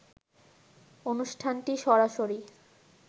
অনুষ্ঠানটি সরাসরি